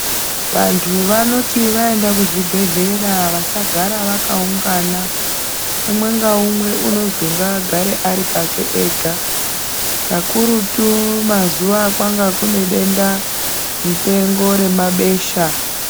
Vantu vanoita vaende kuzvibhedhlera vasagare vakaungana umwe ngaumwe unozwi ngaagare Ari pake ega kakurutu mwazuwa akanga kune denda mupengo remabesha .